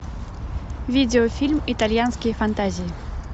видеофильм итальянские фантазии